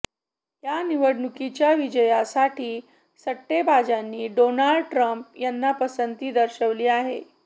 या निवडणुकीच्या विजयासाठी सट्टेबाजांनी डोनाल्ड ट्रम्प यांना पसंती दर्शवली आहे